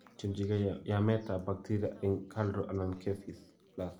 Tyemjingei yameetap baktiria eng' KALRO anan KEPHIS+